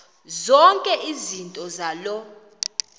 zonke izinto zaloo